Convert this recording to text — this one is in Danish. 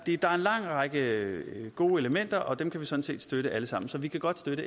lang række gode elementer og dem kan vi sådan set støtte alle sammen så vi kan godt støtte